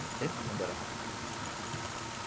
No tempo quando eu era rapaz.